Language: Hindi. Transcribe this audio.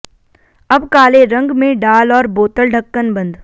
अब काले रंग में डाल और बोतल ढक्कन बंद